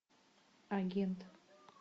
агент